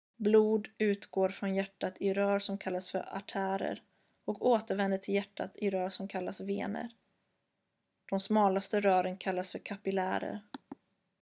blod utgår från hjärtat i rör som kallas för artärer och återvänder till hjärtat i rör som kallas vener de smalaste rören kallas för kapillärer